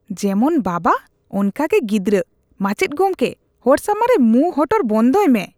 ᱡᱮᱢᱚᱱ ᱵᱟᱵᱟ, ᱚᱝᱠᱟᱜᱮ ᱜᱤᱫᱨᱟᱹ ᱾ ᱢᱟᱪᱮᱫ ᱜᱚᱢᱠᱮ, ᱦᱚᱲ ᱥᱟᱢᱟᱝ ᱨᱮ ᱢᱩᱸ ᱦᱚᱴᱚᱨ ᱵᱚᱱᱫᱚᱭ ᱢᱮ ᱾